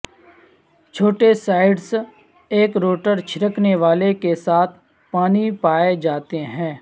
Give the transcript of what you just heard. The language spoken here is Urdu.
چھوٹے سائٹس ایک روٹر چھڑکنے والے کے ساتھ پانی پائے جاتے ہیں